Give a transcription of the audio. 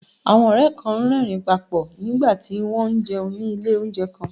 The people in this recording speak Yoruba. Àwọn ọ̀rẹ́ kan ń rẹ́rìn-ín pa pọ̀ nígbà tí wọ́n ń jẹun ní ilé oúnjẹ kan